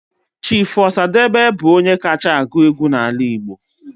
Chief Osadebe bụ onye kacha agụ egwu n'ala Igbo